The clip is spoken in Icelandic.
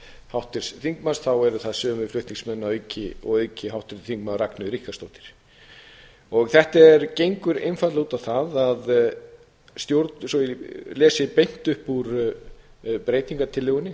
háttvirts þingmanns þá eru það sömu flutningsmenn og að auki háttvirtur þingmaður ragnheiður ríkharðsdóttir þetta gengur einfaldlega út á það svo ég lesi beint upp úr breytingartillögunni